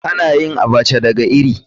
Ana yin Abacha daga iri.